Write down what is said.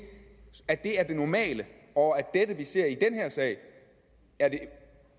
normale og at det vi ser i den her sag